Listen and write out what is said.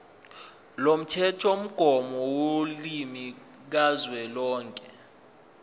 lomthethomgomo wolimi kazwelonke